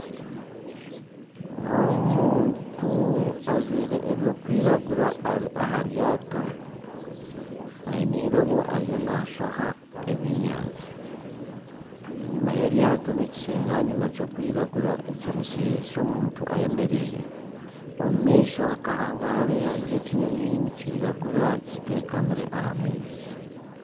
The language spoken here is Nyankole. Omuntu ajwaire ebyokwiragura ari aha ryaato aine eirobo ariyo nashoha ebyenyanja enyuma y'eryato nekisinganyima ky'okwiragura eky'omuntu ayemereire omu maisho nka hangahariya hariyo ekinyonyi nikiragura kitekamire aha maizi.